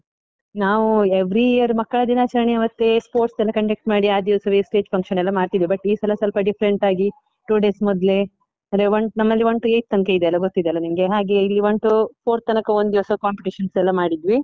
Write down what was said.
ನಾವು every year ಮಕ್ಕಳ ದಿನಾಚರಣೆಯಾವತ್ತೆ sports ಎಲ್ಲ conduct ಮಾಡಿ ಆ ದಿವಸವೇ stage function ಎಲ್ಲ ಮಾಡ್ತಿದ್ವಿ, but ಈ ಸಲ ಸ್ವಲ್ಪ different ಆಗಿ two days ಮೊದ್ಲೇ ಅಂದ್ರೆ one ನಮ್ಮಲ್ಲಿ one to eighth ತನ್ಕಯಿದೆ ಅಲ ಗೊತ್ತಿದೆ ಅಲಾ ನಿಂಗೆ? ಹಾಗೆ ಇಲ್ಲಿ one to four ತನಕ ಒಂದಿವಸ competition ಎಲ್ಲಾ ಮಾಡಿದ್ವಿ.